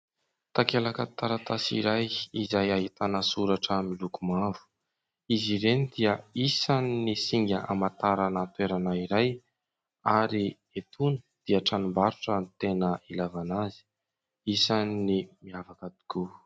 Takelaka taratasy iray izay ahitana soratra miloko mavo. Izy ireny dia isan'ny singa hamantarana toerana iray ary etoana dia tranombarotra no tena ilaivana azy, isan'ny miavaka tokoa.